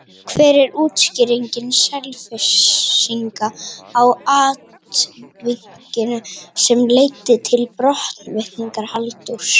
Hver er útskýring Selfyssinga á atvikinu sem leiddi til brottvikningar Halldórs?